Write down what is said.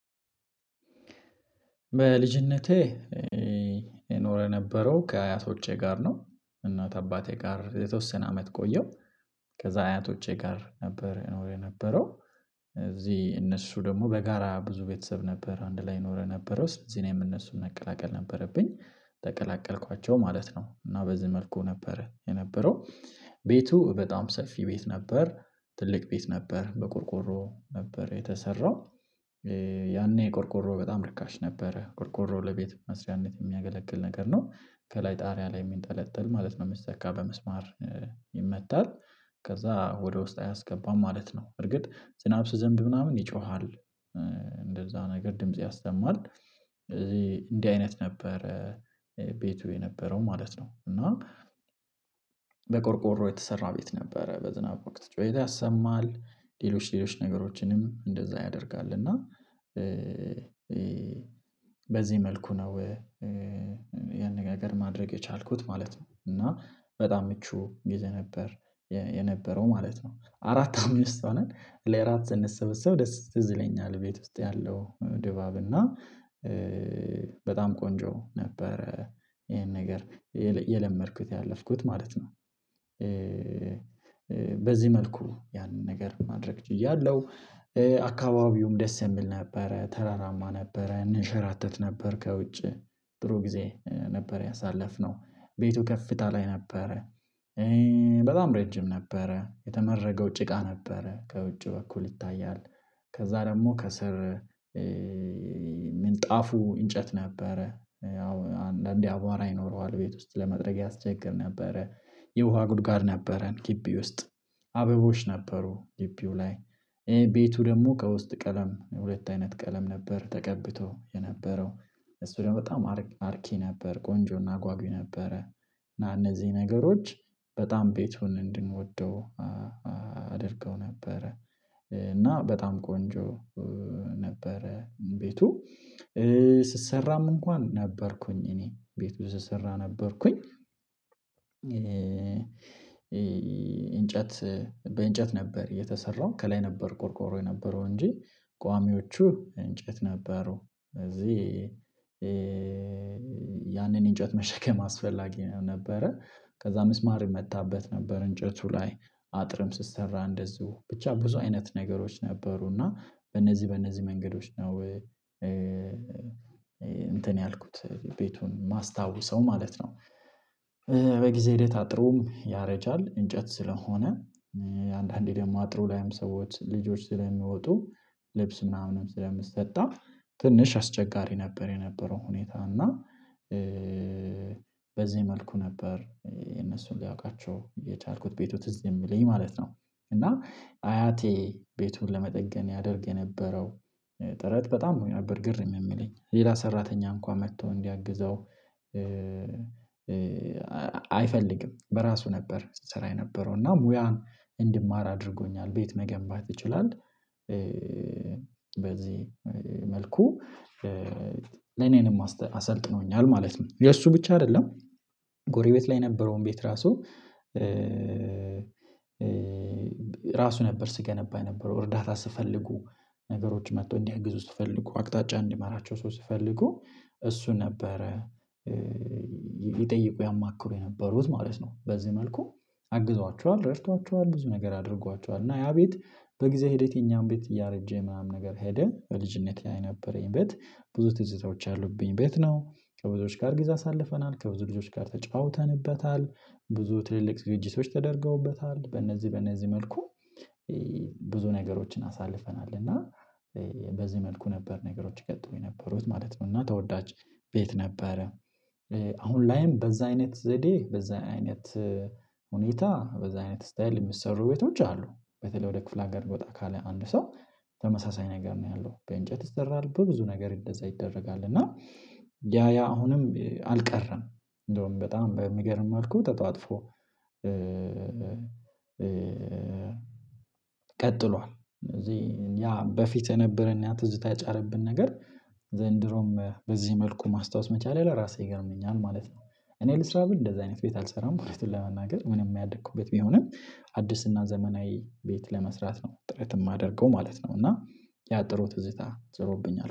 በልጅነቴ የኖረ ነበረው ከአያቶቼ ጋር ነው። እናት አባቴ ጋር የተወሰነ አመት ቆየሁ። ከዛ አያቶቼ ጋር ነበር የነበረው። እዚህ እነሱ ደግሞ በጋራ ብዙ ቤተሰብ ነበር አንድ ላይ ይኖረ ነበረው እዚህ እነሱን መቀላቀል ነበረብኝ። ተቀላቀልኳቸው ማለት ነው እና በዚህ መልኩ ነበረ የነበረው። ቤቱ በጣም ሰፊ ቤት ነበር ትልቅ ቤት ነበር በቆርቆሮ ነበር የተሰራው። ያኔ ቆርቆሮ በጣም ርካሽ ነበረ ቆርቆሮ ለቤት መስሪያነት የሚያገለግል ነገር ነው። ከላይ ጣሪያ ላይ የሚንጠለጥል ማለት ነው የሚሰካ በምስማር። ይመታል ከዛ ወደ ውስጥ አያስገባም ማለት ነው። እርግጥ ዝናብ ሲዘንብ ምናምን ይጮሃል። እንደዛ ነገር ድምጽ ያሰማል። እዚህ እንዲህ አይነት ነበረ ቤቱ የነበረው ማለት ነው እና። በቆርቆሮ የተሰራ ቤት ነበረ በዝናብ ወቅት ጩኧት ያሰማል ሌሎች ሌሎች ነገሮችንም እንደዛ ያደርጋል እና። በዚህ መልኩ ነው ያነጋገር ማድረግ የቻልኩት ማለት ነው። እና በጣም ምቹ ገዜ ነበር የነበረው ማለት ነው። አራት አምስት ሆነን ለእራት ስንሰበሰብ ደስ ትዝ ይለኛል ቤት ውስጥ ያለው ድባብ እና በጣም ቆንጆ ነበረ። ይሄን ነገር የለመድኩት ያለፍኩት ማለት ነው። በዚህ መልኩ ያንን ነገር ማድረግ ችያለሁ። አካባቢውም ደስ የሚል ነበረ ተራራማ ነበረ እንሸራተት ነበር ከውጪ ጥሩ ጊዜ ነበር ያሳለፍነው። ቤቱ ከፍታ ላይ ነበረ በጣም ረጅም ነበረ የተመረገው ጭቃ ነበረ ከውጭ በኩል ይታያል። ከዛ ደግሞ ከስር ምንጣፉ እንጨት ነበረ ያው አንዳንዴ አቧራ ይኖረዋል ቤት ውስጥ ለመጥረግ ያስቸግር ነበረ። የውሃ ጉድጓድ ነበረን ግቢ ውስጥ አበቦች ነበሩ ግቢው ላይ ይሄ ቤቱ ደግሞ ከውስጥ ቀለም ሁለት አይነት ቀለም ነበር ተቀብቶ የነበረው። እሱ ደግሞ በጣም አርኪ ነበር ቆንጆና አጓጊይ ነበረ። እነዚህ ነገሮች በጣም ቤቱን እንድንወደው አድርገው ነበረ። እና በጣም ቆንጆ ነበረ ቤቱ። ስሰራም እንኳን ነበርኩኝ እኔ ቤቱ ስሰራ ነበርኩኝ። እንጨት በእንጨት ነበር የተሰራው ከላይ ነበር ቆርቆሮ የነበረው እንጂ ቋሚዎቹ እንጨት ነበሩ። እዚህ ያንን እንጨት መሸከም አስፈላጊ ነበረ። ከዛ ምስማር የመታበት ነበር እንጨቱ ላይ አጥርም ስሰራ እንደዚሁ ብቻ ብዙ አይነት ነገሮች ነበሩና በእነዚህ በእነዚህ መንገዶች ነው። እንትን ያልኩት ቤቱን ማስታወሰው ማለት ነው። በጊዜ ሂደት አጥሩም ያረጃል እንጨት ስለሆነ አንዳንዴ ደግሞ አጥሩ ላይም ሰዎች ልጆች ስለሚወጡ ልብስ ምናምንም ስለምሰጣ ትንሽ አስቸጋሪ ነበር የነበረው ሁኔታ እና። በዚህ መልኩ ነበር የነሱን ሊያውቃቸው የቻልኩት ቤቱ ትዝ የሚለኝ ማለት ነው። እና አያቴ ቤቱን ለመጠገን ያደርግ የነበረው። ጥረት በጣም ነበር ግርም የሚለኝ ሌላ ሰራተኛ እንኳን መጥቶ እንዲያግዘው አይፈልግም በራሱ ነበር ሲሰራ የነበረው እና ሙያ እንድማር አድርጎኛል ቤት መገንባት ይችላል። በዚህ መልኩ ለኔንም አሰልጥኖኛል ማለት ነው። የእሱ ብቻ አይደለም። ጎሪቤት ላይ የነበረውን ቤት ራሱ ራሱ ነበር ስገነባ የነበረው እርዳታ ስፈልጉ ነገሮች መጥቶ እንዲያግዙ ስፈልጉ አቅጣጫ እንዲመራቸው ስፈልጉ እሱ ነበረ። ይጠይቁ ያማክሩ የነበሩት ማለት ነው። በዚህ መልኩ አግዟቸዋል ረድቷቸዋል ብዙ ነገር አድርጓቸዋል እና ያ ቤት በጊዜ ሂደት የኛም ቤት እያረጀ ምናምን ነገር ሄደ። በልጅነቴ ላይ የነበረኝ ቤት ብዙ ትዝታዎች ያሉብኝ ቤት ነው። ከብዙዎች ጋር ጊዜ አሳልፈናል ከብዙ ልጆች ጋር ተጫውተንበታል። ብዙ ትልልቅ ዝግጅቶች ተደርገውበታል በእነዚህ በእነዚህ መልኩ። ብዙ ነገሮችን አሳልፈናል እና። በዚህ መልኩ ነበር ነገሮች ይቀጥሉ የነበሩት ማለት ነው። እና ተወዳጅ ቤት ነበረ። ላይም በዛ አይነት ዘዴ በዛ አይነት ሁኔታ በዛ አይነት ስታየል የሚሰሩ ቤቶች አሉ። በተለይ ወደ ክፍለ አጋር ወጣ ካለ አንድ ሰው ተመሳሳይ ነገር ነው ያለው በእንጨት ይሰራል በብዙ ነገር እንደዛ ይደረጋል እና። ያ ያ አሁንም አልቀረም እንደውም በጣም በሚገርም አልኩት ተጧጥፎ ቀጥሏል። እነዚህ ያ በፊት የነበረን ያ ትዝታ የጫረብን ነገር ዘንድሮም በዚህ መልኩ ማስታወስ መቻሌ ለራሴ ይገርመኛል ማለት ነው። እኔ ልስራ ብል እንደዚህ አይነት ቤት አልሰራም እዉነቱን ለመናገር ምንም ያደኩበት ቢሆንም አዲስና ዘመናዊ ቤት ለመስራት ነው ጥረት የማደርገው ማለት ነው። እና ያ ጥሩ ትዝታ ጭሮብኛል